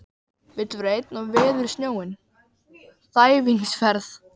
Vill vera einn og veður snjóinn, þæfingsfærð